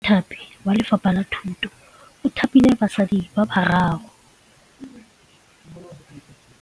Mothapi wa Lefapha la Thutô o thapile basadi ba ba raro.